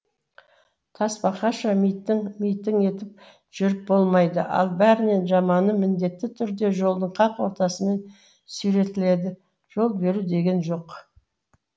тасбақаша митың митың етіп жүріп болмайды ал бәрінен жаманы міндетті түрде жолдың қақ ортасымен сүйретіледі жол беру деген жоқ